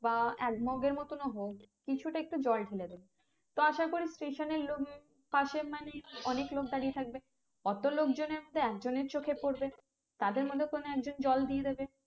বা এক মগের মতোন হোক কিছুটা একটু জল ঢেলে দেবেন তো আসা করি station এর লোক পশে মানেই অনেক লোক দাঁড়িয়ে থাকবে অত লোকতনের মধ্যে এক জনের চোখে পরবে তাদের মধ্যে কোনো এক জন জল দিয়ে দেবে